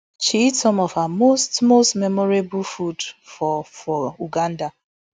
she eat some of her most most memorable food for for uganda